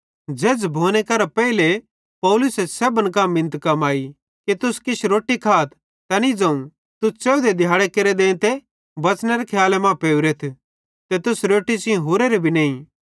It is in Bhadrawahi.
झ़ेझ़ भोने करां पेइले पौलुसे सेब्भन कां मिनत कमाई कि तुस किछ रोट्टी खाथ तैनी ज़ोवं तुस च़ेवधे दिहैड़ी केरे देंते बंच़नेरे खियाले मां पेवरेथ ते तुस रोट्टी सेइं हुरोरे भी नईं